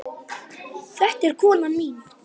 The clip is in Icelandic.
Þetta er konan mín!